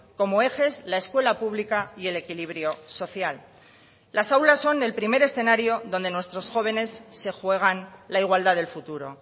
como ejes la escuela pública y el equilibrio social las aulas son el primer escenario donde nuestros jóvenes se juegan la igualdad del futuro